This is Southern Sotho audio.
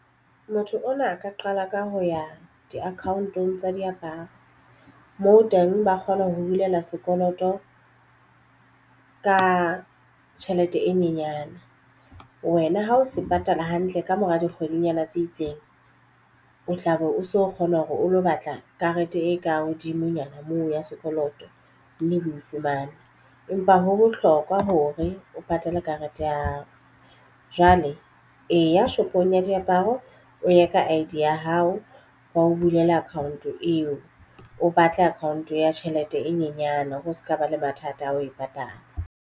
Motho ona a ka qala ka ho ya di-account-ong tsa diaparo moo teng ba kgona ho bulela sekoloto ka tjhelete e nyenyane wena ha o se patala hantle ka mora di kgwedinyana tse itseng o tla be o so kgona hore o lo batla karete e ka hodimonyana moo ya sekoloto mme o fumane empa ho bohlokwa hore o patale karete ya hao. Jwale eya shopong ya diaparo o ye ka I_D ya hao ba o bulele account eo o batle account-o ya tjhelete e nyenyane hore se ka ba le mathata a ho e patala.